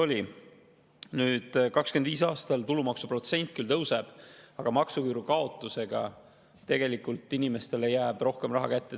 Nüüd, 2025. aastal tulumaksuprotsent küll tõuseb, aga maksuküüru kaotusega jääb inimestele tegelikult rohkem raha kätte.